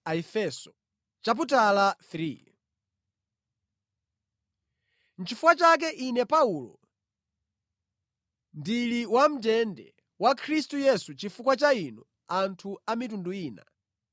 Nʼchifukwa chake ine Paulo, ndili wamʼndende wa Khristu Yesu chifukwa cha inu anthu a mitundu ina.